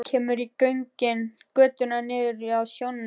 Kemur inn í götuna niður að sjónum.